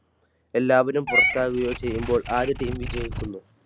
എല്ലാവരും പുറത്താക്കുകയോ ചെയ്യുമ്പോൾ ആദ്യ Team വിജയിക്കുന്നു.